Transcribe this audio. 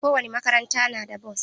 Kowane makaranta na da bos.